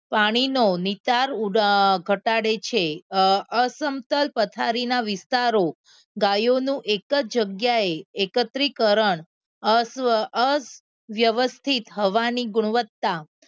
પાણીનો નિતાર ઘટાડે છે અસમતલ પથ્થરના વિસ્તારો ગાયોનું એક જ જગ્યાએ એકત્રીકરણ અવ્યવસ્થિત થવાની ગુણતા